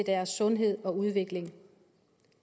deres sundhed og udvikling